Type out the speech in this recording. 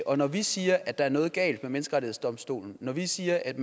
og når vi siger at der er noget galt med menneskerettighedsdomstolen og når vi siger at